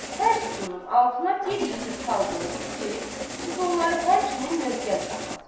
Hər sütunun altına bir yekə sal qoyulub ki, sütunları həmçinin möhkəm saxlasın.